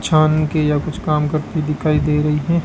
छान के या कुछ काम करती दिखाई दे रही हैं।